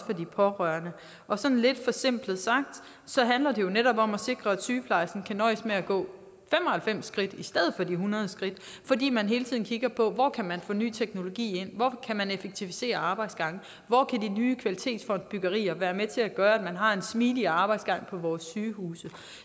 de pårørende sådan lidt forsimplet sagt handler det jo netop om at sikre at sygeplejersken kan nøjes med at gå fem og halvfems skridt i stedet for de hundrede skridt fordi man hele tiden kigger på hvor man kan få ny teknologi ind hvor man kan effektivisere arbejdsgange hvor de nye kvalitetsfondsbyggerier kan være med til at gøre at man har en smidigere arbejdsgang på sygehuset